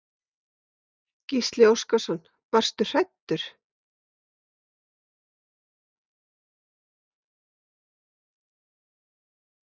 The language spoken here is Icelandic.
Gísli Óskarsson: Varstu hræddur?